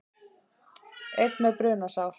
Einn með brunasár